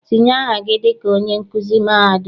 Tinye aha gị dịka onye nkuzi mahadum!